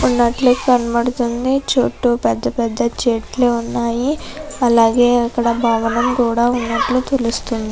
ఉన్నట్లు కనబడుతుంది. చుట్టు పెద్ద పెద్ద చెట్లు ఉన్నాయి. అలాగే అక్కడ భవనం కూడా ఉన్నట్టు తెలుస్తుంది.